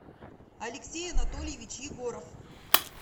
алексей анатольевич егоров